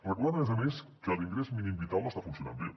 recordem a més a més que l’ingrés mínim vital no està funcionant bé